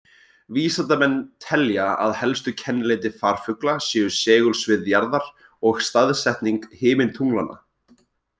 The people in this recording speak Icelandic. Vísindamenn telja að helstu kennileiti farfugla séu segulsvið jarðar og staðsetning himintunglanna.